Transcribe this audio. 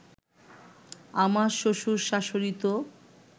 আমার শ্বশুর-শাশুড়ি তো